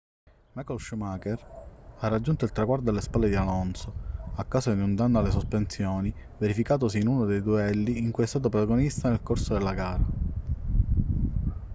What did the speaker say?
michael schumacher ha raggiunto il traguardo alle spalle di alonso a causa di un danno alle sospensioni verificatosi in uno dei duelli di cui è stato protagonista nel corso della gara